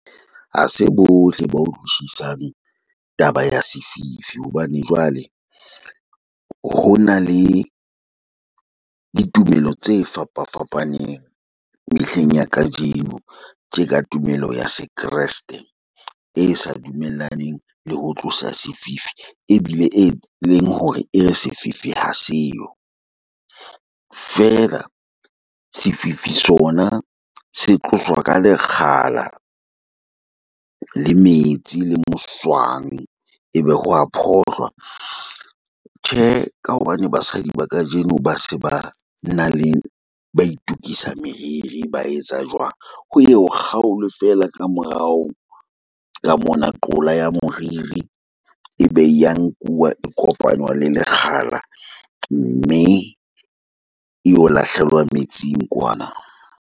Ha se bohle ba utlwisisang taba ya sefifi hobane jwale ho na le di tumelo tse fapa fapaneng mehleng ya kajeno. Tje ka tumelo ya se kreste e sa dumellaneng le ho tlosa sefifi ebile e leng hore e re sefifi ha seyo. Feela sefifi sona se tloswa ka lekgala, le metsi le moswang. Ebe ho a phohlwa. Tjhe, ka hobane basadi ba kajeno ba se ba na le ba itokisa meriri, ba etsa jwang. Ho ye ho kgaolwe feela ka morao ka mona, qola ya moriri. E be ya nkuwa e kopanywa le lekgala mme eo lahlehelwa metsing kwana.